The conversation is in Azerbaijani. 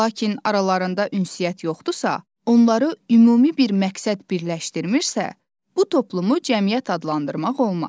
Lakin aralarında ünsiyyət yoxdursa, onları ümumi bir məqsəd birləşdirmirsə, bu toplumu cəmiyyət adlandırmaq olmaz.